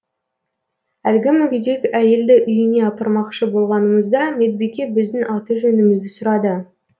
әлгі мүгедек әйелді үйіне апармақшы болғанымызда медбике біздің аты жөнімізді сұрады